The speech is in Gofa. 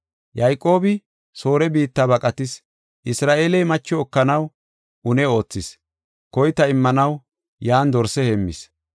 Yayqoobi Soore biitta baqatis; Isra7eeley macho ekanaw une oothis. Koyta immanaw yan dorse heemmis.